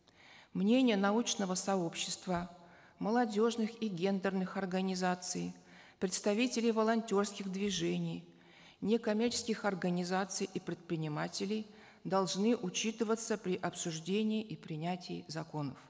мнения научного сообщества молодежных и гендерных организаций представителей волонтерских движений некоммерческих организаций и предпринимателей должны учитываться при обсуждении и принятии законов